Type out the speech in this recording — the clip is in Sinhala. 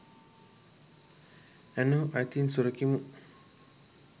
ඇනෝ අයිතීන් සුරකිමු !